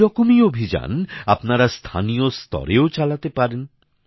এরকমই অভিযান আপনারা স্থানীয় স্তরেও চালাতে পারেন